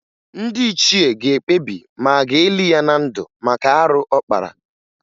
Ndị ichie ga-ekpebi ma a ga-eli ya na ndụ maka arụ ọ kpara